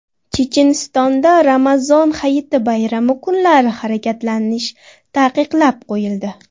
Chechenistonda Ramazon Hayiti bayrami kunlari harakatlanish taqiqlab qo‘yildi.